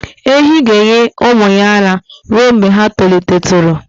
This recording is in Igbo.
Ehi ga-enye ụmụ ya ara ruo mgbe ha tolitetụrụ